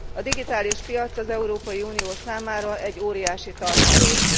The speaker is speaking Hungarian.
A digitális piac az Európai Unió számára egy óriási tartalék.